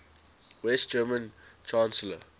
west german chancellor